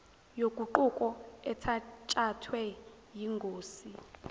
yoguquko ethatshathwe yingosi